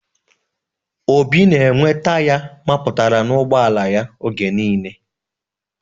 Obi na enwe taya mapụtara n'ugboala ya oge niile